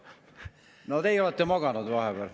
No teie olete maganud vahepeal.